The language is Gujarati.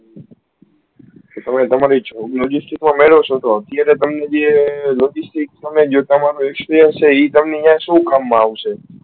તમે તમારે job logistics તમારી મેળો છો તો અત્યારે તમને જે logistics તમારો experience એ તમને શું કામ મા આવશે